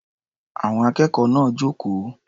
Àwọn akẹ́kọ̀ọ́ náà jókòó.